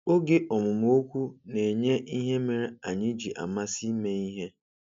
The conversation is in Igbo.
Oge ọmụmụ okwu na-enye ihe mere anyị ji amasị ime ihe.